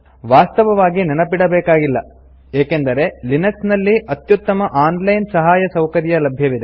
ವಾಸ್ತವವಾಗಿ ನೆನಪಿಡಬೇಕಾಗಿಲ್ಲ ಏಕೆಂದೆರೆ ಲಿನಕ್ಸ್ ನಲ್ಲಿ ಅತ್ಯುತ್ತಮ ಆನ್ ಲೈನ್ ಸಹಾಯ ಸೌಕರ್ಯ ಲಭ್ಯವಿದೆ